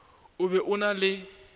o be o na le